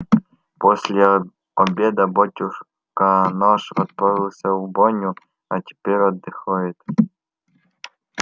после обеда батюшка наш отправился в баню а теперь отдыхает